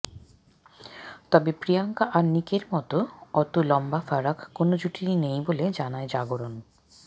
তবে প্রিয়াঙ্কা আর নিকের মতো অতো লম্বা ফারাক কোনো জুটিরই নেই বলে জানায় জাগরন